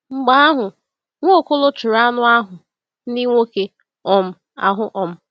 Mgbe ahụ, Nwaokolo chụrụ anụ ahụ ndị nwoke um ahụ. um